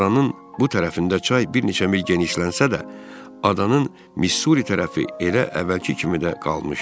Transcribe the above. Adanın bu tərəfində çay bir neçə mil genişlənsə də, adanın Missuri tərəfi elə əvvəlki kimi də qalmışdı.